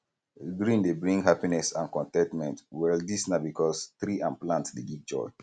green dey bring happiness and con ten tment well dis na because tree and plant dey give joy